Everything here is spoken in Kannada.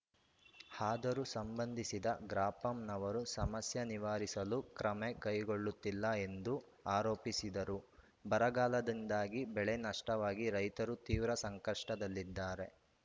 ಆದರೂ ಸಂಬಂಧಿಸಿದ ಗ್ರಾಪಂನವರು ಸಮಸ್ಯೆ ನಿವಾರಿಸಲು ಕ್ರಮೆ ಕೈಗೊಳ್ಳುತ್ತಿಲ್ಲ ಎಂದು ಆರೋಪಿಸಿದರು ಬರಗಾಲದಿಂದಾಗಿ ಬೆಳೆ ನಷ್ಟವಾಗಿ ರೈತರು ತೀವ್ರ ಸಂಕಷ್ಟದಲ್ಲಿದ್ದಾರೆ